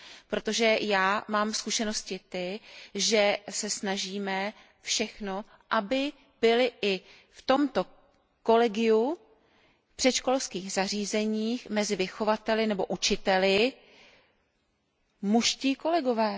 Protože já mám zkušenosti ty, že se snažíme všechno, aby byli i v tomto kolegiu předškolních zařízení mezi vychovateli nebo učiteli mužští kolegové.